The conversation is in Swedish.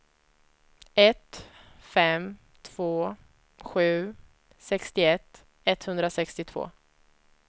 ett fem två sju sextioett etthundrasextiotvå